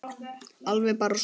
Alveg bara súr